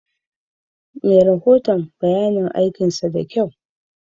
Me rahoton bayayin aikinsa dakyau.